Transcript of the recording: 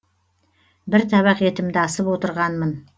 бір табақ етімді асып отырғанмын